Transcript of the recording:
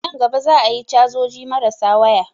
Nan gaba za a yi cajoji marasa waya